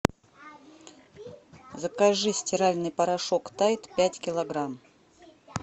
закажи стиральный порошок тайд пять килограмм